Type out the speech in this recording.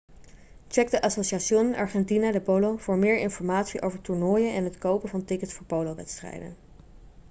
check de asociación argentina de polo voor meer informatie over toernooien en het kopen van tickets voor polowedstrijden